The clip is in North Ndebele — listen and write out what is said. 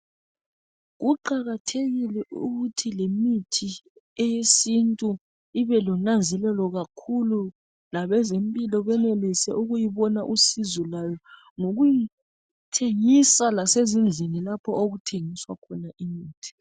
Kuqakathekile ukuthi lemithi eyesintu ibe lonanzelelo kakhulu .Labezempilo benelise ukuyibona usizo lwayo ngokuyi thengisa lasezindlini lapho okuthengiswa khona imithi .